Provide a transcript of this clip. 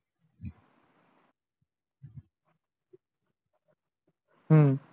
हम्म